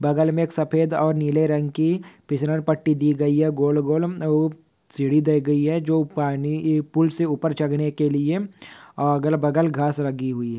बगल मे एक सफेद और निले रंग की फिसलंपट्टि पट्टी दी गई है गोल गोल सीडी दि गई है जो पाणी फूल से उपर चढ़ने के लीए अगल बगल घास लगी हुई है।